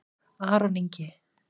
Aron Ingi